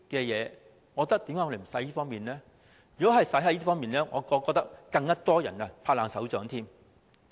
如果花在這些服務上，我覺得會有更多人"拍爛手掌"。